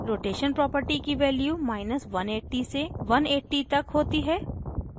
rotation property की values180 से 180 तक होती हैं